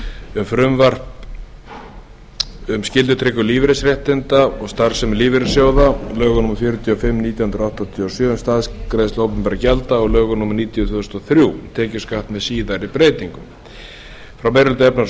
um frumvarp um skyldutryggingu lífeyrisréttinda og starfsemi lífeyrissjóða lög númer fjörutíu og fimm nítján hundruð áttatíu og sjö um staðgreiðslu opinberra gjalda og lög númer níutíu tvö þúsund og þrjú tekjuskatt með síðari breytingum frá meiri hluta efnahags og